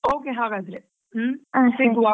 Okay ಹಾಗಾದ್ರೆ ಹ್ಮ್ ಸಿಗ್ವಾ.